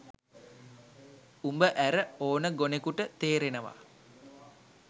උඹ ඇර ඕන ගොනෙකුට තේරෙනවා.